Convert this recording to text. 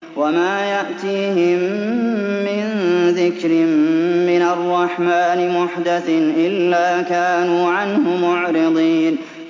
وَمَا يَأْتِيهِم مِّن ذِكْرٍ مِّنَ الرَّحْمَٰنِ مُحْدَثٍ إِلَّا كَانُوا عَنْهُ مُعْرِضِينَ